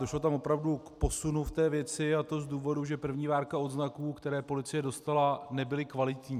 Došlo tam opravdu k posunu v té věci, a to z důvodu, že první várka odznaků, které policie dostala, nebyla kvalitní.